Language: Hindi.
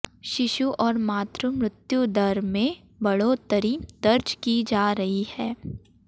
शिशु और मातृ मृत्यु दर में बढ़ोतरी दर्ज की जा रही है